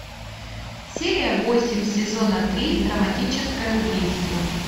серия восемь сезона три драматическое убийство